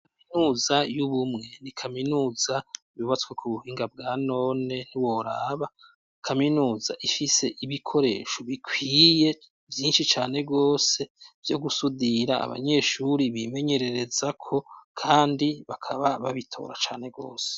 Kaminuza y'ubumwe ,ni kaminuza yubatswe ku buhinga bwa none ntiworaba, kaminuza ifise ibikoresho bikwiye vyinshi cane gose, vyo gusudira abanyeshuri bimenyerereza ko kandi bakaba babitora cane gose.